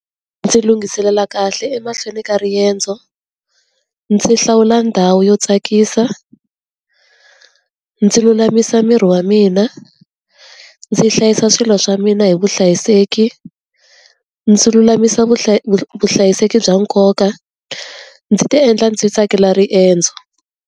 Ndzi lunghiselela kahle emahlweni ka riendzo, ndzi hlawula ndhawu yo tsakisa, ndzi lulamisa miri wa mina, ndzi hlayisa swilo swa mina hi vuhlayiseki, ndzi lulamisa vuhlayiseki bya nkoka, ndzi ti endla ndzi tsakela riendzo.